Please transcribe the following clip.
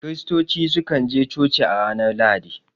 Kiristoci su kan je coci a ranar Lahadi